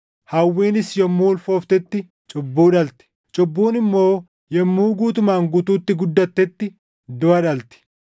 Hawwiinis yommuu ulfooftetti cubbuu dhalti; cubbuun immoo yommuu guutumaan guutuutti guddattetti duʼa dhalti.